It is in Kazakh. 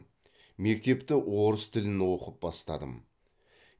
мектепті орыс тілін оқып бастадым